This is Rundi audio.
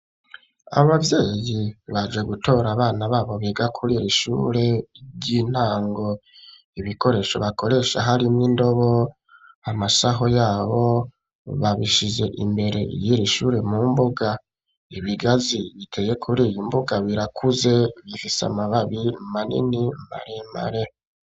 Aba bavyeyi baje gutora abana babo biga kuririshure ry'intango ibikoresho bakoresha harimw'indobo, amasaho yabo babishize imbere y'iri ishure mu mbuga ibigazi biteye kuriyo mbuga birakuze bifise amababi manini maremare.